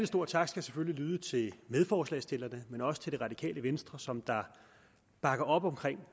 stor tak skal selvfølgelig lyde til medforslagsstillerne men også til det radikale venstre som bakker op om